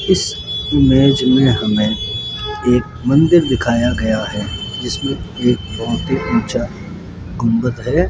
इस इमेज में हमें एक मंदिर दिखाया गया है जिसमें एक बहुत ही ऊंचा गुंबद है।